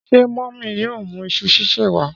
Ṣé mọmi yóò mú iṣu sise wa?